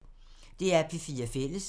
DR P4 Fælles